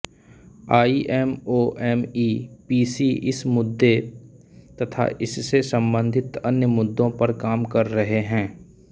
IMOMEPC इस मुद्दे तथा इससे संबंधित अन्य मुद्दों पर काम कर रहे हैं